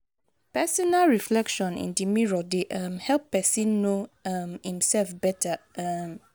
personal reflection in di mirror dey um help pesin know um imself beta. um